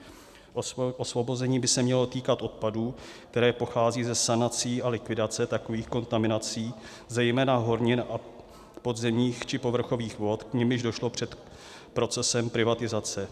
Osvobození by se mělo týkat odpadů, které pocházejí ze sanací a likvidace takových kontaminací, zejména hornin a podzemních či povrchových vod, k nimž došlo před procesem privatizace.